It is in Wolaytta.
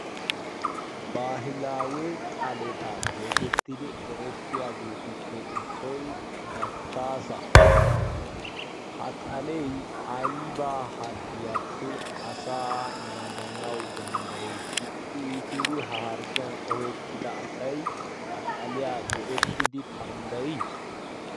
Baahilawe xaaleta getettidu eretriyaagetuppe issoy dachchaasa. Ha xalee aybba harggiyaappe asa naaganawu dandday? Ixxi iittidi ha harggiyan ohettida asay ha xaaliya go"ettidi dandday?